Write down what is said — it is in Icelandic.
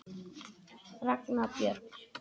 Ragna Björg.